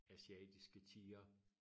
Asiatiske tiger